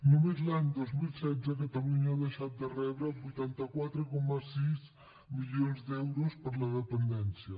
només l’any dos mil setze catalunya ha deixat de rebre vuitanta quatre coma sis milions d’euros per a la dependència